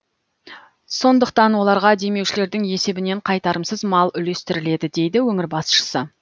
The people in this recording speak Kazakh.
сондықтан оларға демеушілердің есебінен қайтарымсыз мал үлестіріледі дейді өңір басшысы